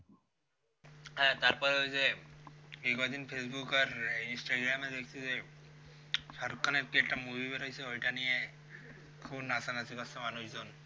হ্যাঁ তারপর ওই যে এইকয়দিন facebook আর instagram এ দেখছি যে shahrukh khan এর কি একটা movie বেরইয়েছে ওইটা নিয়ে খুব নাচানাচি করছে মানুষজন